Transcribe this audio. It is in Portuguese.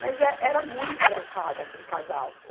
Mas é, era muito engraçado aquele casal.